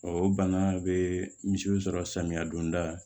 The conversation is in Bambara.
o bana bɛ misiw sɔrɔ samiya donda la